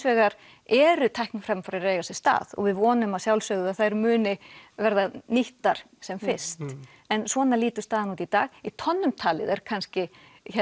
vegar eru tækni framfarir að eia sér stað og við vonum að sjálfsögðu að þær verði nýttar sem fyrst en svona lítur staðan út í dag í tonnum talið er kannski